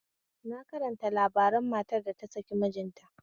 Na karanta labarin matar da ta saki mijinta